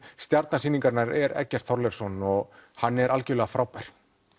stjarna sýningarinnar er Eggert Þorleifsson og hann er algerlega frábær